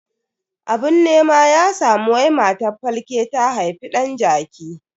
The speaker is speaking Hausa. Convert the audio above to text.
Abun nema ya samu wai matar falke ta haifi dan jaki.